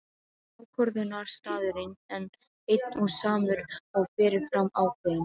Ákvörðunarstaðurinn einn og samur og fyrirfram ákveðinn.